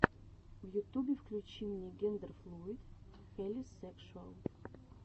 в ютубе включи мне гендерфлуид хелисекшуал